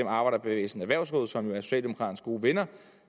arbejderbevægelsens erhvervsråd som jo er socialdemokraternes gode venner